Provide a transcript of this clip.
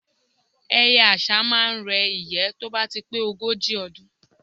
Ẹyẹ àṣá máá ń re ìyẹ́ tó bá ti pé ogójì ọdún